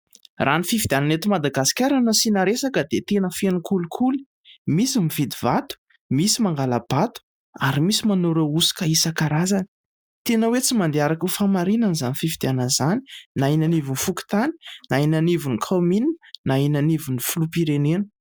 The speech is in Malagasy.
Raha ny fifidianana ety Madagasikara no hasiana resaka dia tena feno kolikoly. Misy mividy vato, misy mangala-bato, ary misy manao ireo osoka isan-karazany. Tena hoe tsy mandeha araky ny famarinana izany fifidianana izany, na eny anivon'ny Fokontany, na eny anivon'ny Kaominina, na eny anivon'ny filoham-pirenena.